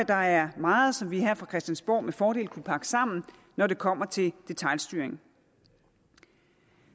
der er meget som vi her fra christiansborg med fordel kunne pakke sammen når det kommer til detailstyring